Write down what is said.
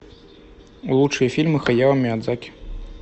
лучшие фильмы хаяо миядзаки